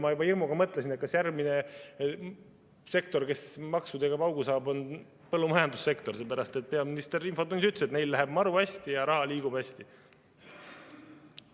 Ma juba hirmuga mõtlesin, kas järgmine sektor, kes maksudega paugu saab, on põllumajandussektor, sest peaminister infotunnis ütles, et seal läheb maru hästi ja raha liigub hästi.